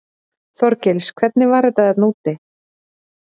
Þorgils: Hvernig var þetta þarna úti?